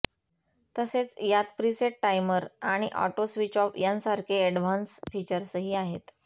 तसेच यात preset timer आणि ऑटो स्विच ऑफ यांसारखे ऍडव्हान्स फीचर्सही आहेत